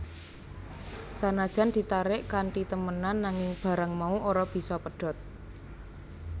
Sanajan ditarik kanthi temenan nanging barang mau ora bisa pedhot